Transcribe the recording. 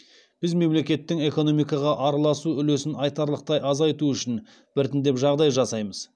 біз мемлекеттің экономикаға араласу үлесін айтарлықтай азайту үшін біртіндеп жағдай жасаймыз